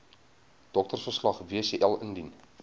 doktersverslag wcl indien